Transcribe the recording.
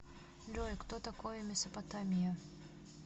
джой кто такой месопотамия